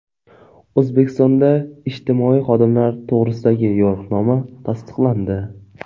O‘zbekistonda ijtimoiy xodimlar to‘g‘risidagi yo‘riqnoma tasdiqlandi.